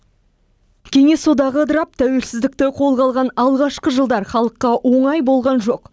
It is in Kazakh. кеңес одағы ыдырап тәуелсіздікті қолға алған алғашқы жылдар халыққа оңай болған жоқ